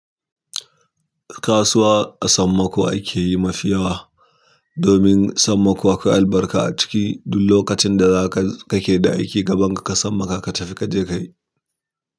Kasuwa a sammako ake yi mafiyawa. Domin sammako akwai albarka a ciki duk lokacin da zaka kake da aiki gaban ka ka sammaka ka tafi ka je ka yi.